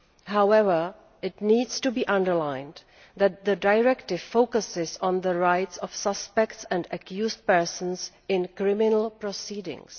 However, it should be underlined that the directive focuses on the rights of suspects and accused persons in criminal proceedings.